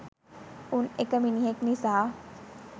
උන් එක මිනිහෙක් නිසා